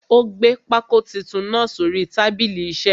Ó gbé pákó titun náà sórí tábìlì isẹ́.